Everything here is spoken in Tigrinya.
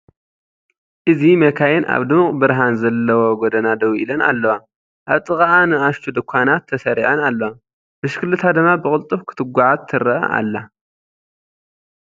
እዚ መካይን ኣብ ድሙቕ ብርሃን ዘለዎ ጎደና ደው ኢለን ኣለዋ፡ ኣብ ጥቓኣ ንኣሽቱ ድኳናት ተሰሪዐን ኣለዋ፡ ብሽክለታ ድማ ብቕልጡፍ ክትጓዓዝ ትረአ ኣላ።